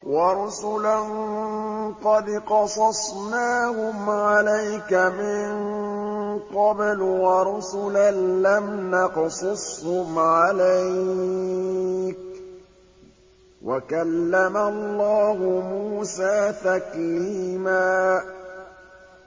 وَرُسُلًا قَدْ قَصَصْنَاهُمْ عَلَيْكَ مِن قَبْلُ وَرُسُلًا لَّمْ نَقْصُصْهُمْ عَلَيْكَ ۚ وَكَلَّمَ اللَّهُ مُوسَىٰ تَكْلِيمًا